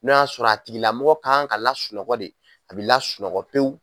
N'o y'a sɔrɔ a tigila mɔgɔ kan ka lasunɔgɔ de, a be lasunɔgɔ pewu.